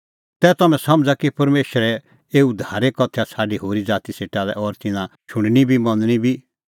तै तम्हैं समझ़ा कि परमेशरे एऊ उद्धारे कथैया छ़ाडी होरी ज़ाती सेटा लै और तिन्नां शुणनी बी मनणी बी